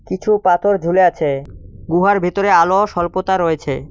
কিছু পাথর ঝুলে আছে গুহার ভেতরে আলো সল্পতা রয়েছে।